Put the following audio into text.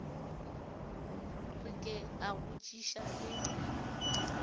re ke a botšiša le